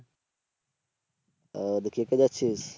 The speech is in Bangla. ও তো কে কে কে যাচ্ছিস?